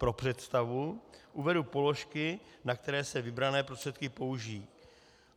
Pro představu uvedu položky, na které se vybrané prostředky použijí.